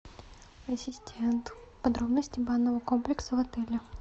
ассистент подробности банного комплекса в отеле